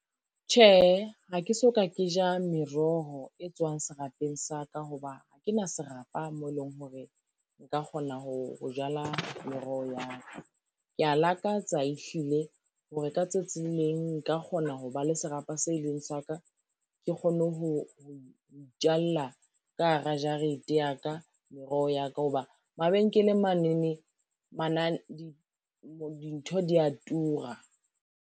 Tjhehe, ha ke soka ke ja meroho e tswang serapeng sa ka ho ba ke na serapa moo eleng hore, nka kgona ho jala meroho ya ka. Kea lakatsa e hlile hore ka tsatsi leng nka kgona ho ba le serapa se leng sa ka, ke kgone ho itjalla ka hara jarete ya ka meroho ya ka ho ba mabenkeleng manene dintho di ya tura.